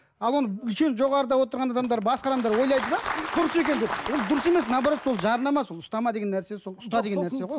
ал оны жоғарыда отырған адамдар басқа адамдар ойлайды да дұрыс екен деп ол дұрыс емес наоборот сол жарнама сол ұстама деген нәрсе сол ұста деген нәрсе ғой